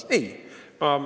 Ei öelnud!